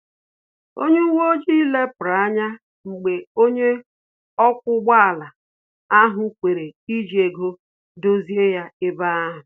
Onye uwe ojii lepuru anya mgbe onye ọkwa ụgbọ ala ahụ kwere iji ego dozie ya ebe ahu